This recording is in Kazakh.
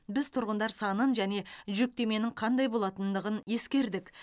біз тұрғындар санын және жүктеменің қандай болатындығын ескердік